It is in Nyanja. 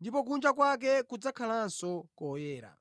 ndipo kunja kwake kudzakhalanso koyera.